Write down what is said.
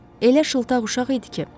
Elə şıltaq uşaq idi ki.